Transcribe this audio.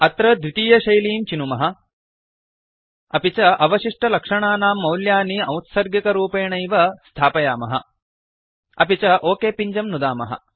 अत्र द्वितीयशैलीं चिनुमः अपि च अवशिष्टलक्षणानां मौल्यानि औत्सर्गिकरूपेणैव स्थापयामः अपि च ओक पिञ्जं नुदामः